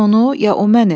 Mən onu ya o məni?